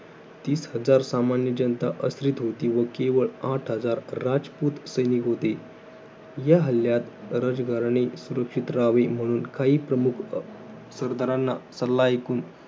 तीस हजार सामान्य जनता आश्रित होती व केवळ आठ हजार राजपूत सैनिक होते. या हल्ल्यात राजघराणे सुरक्षित राहावे म्हणून काही प्रमुख सरदारांना सल्ला ऐकून